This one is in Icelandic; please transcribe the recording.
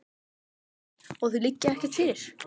Þorbjörn: Og þau liggja ekki fyrir?